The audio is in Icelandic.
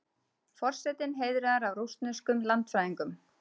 Forsetinn heiðraður af rússneskum landfræðingum